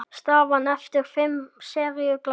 Staðan eftir fimm seríu gláp.